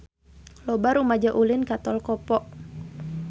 Loba rumaja ulin ka Tol Kopo